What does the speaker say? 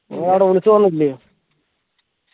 നീ ആടെ വിളിച് പറഞ്ഞിട്ടില്ലെയോ